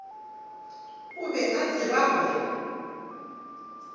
o be a tseba gore